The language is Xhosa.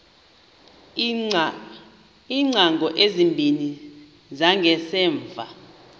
iingcango ezimbini zangasemva